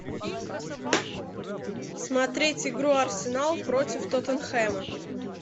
смотреть игру арсенал против тоттенхэма